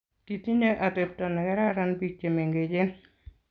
Kitinye atepto negararan biik chemengechen